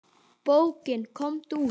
Bókin Komdu út!